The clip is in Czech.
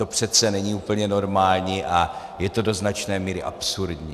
To přece není úplně normální a je to do značné míry absurdní.